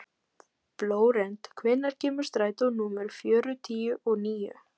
Flórent, hvenær kemur strætó númer fjörutíu og níu?